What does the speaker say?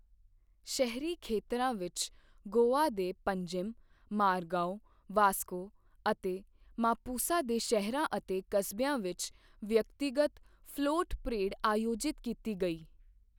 ਸ਼ਹਿਰੀ ਖੇਤਰਾਂ ਵਿੱਚ, ਗੋਆ ਦੇ ਪੰਜਿਮ, ਮਾਰਗਾਓ, ਵਾਸਕੋ ਅਤੇ ਮਾਪੁਸਾ ਦੇ ਸ਼ਹਿਰਾਂ ਅਤੇ ਕਸਬਿਆਂ ਵਿੱਚ ਵਿਅਕਤੀਗਤ ਫਲੋਟ ਪਰੇਡ ਆਯੋਜਿਤ ਕੀਤੀ ਗਈ।